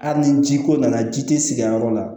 Hali ni ji ko nana ji te sigi a yɔrɔ la